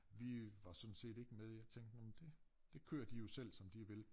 Vi var sådan set ikke med jeg tænkte nå men dét det kører de jo selv som de vil